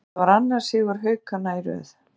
Þetta var annar sigur Haukanna í röð.